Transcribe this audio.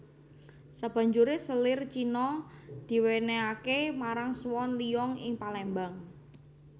Sabanjuré selir Cina diwènèhaké marang Swan Liong ing Palembang